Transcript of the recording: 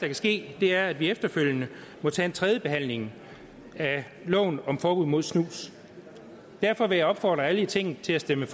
kan ske er at vi efterfølgende må tage en tredje behandling af loven om forbud mod snus derfor vil jeg opfordre alle i tinget til at stemme